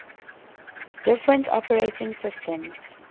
different operating systems